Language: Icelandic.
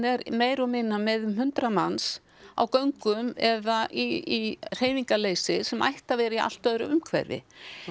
er meira og minna með um eitt hundrað manns á göngum eða í hreyfingarleysi sem ætti að vera í allt öðru umhverfi